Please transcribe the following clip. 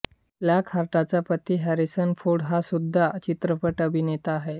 फ्लॉकहार्टचा पती Harrison Ford हा सुद्धा चित्रपट अभिनेता आहे